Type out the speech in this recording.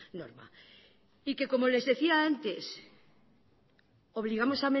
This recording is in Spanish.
norma y que como les decía antes obligamos